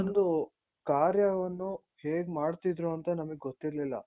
ಒಂದು ಕಾರ್ಯವನ್ನು ಹೇಗ್ ಮಾಡ್ತಿದ್ರು ಅಂತ ನಮ್ಗೆ ಗೊತ್ತಿರ್ಲಿಲ್ಲ .